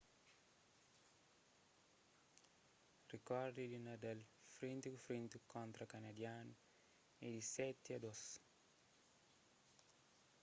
rikordi di nadal frenti ku frenti kontra kanadianu é di 7--2